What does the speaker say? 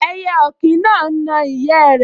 Ẹyẹ ọ̀kín náà n na ìyẹ́ rẹ̀